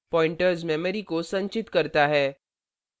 pointers memory को संचित करता है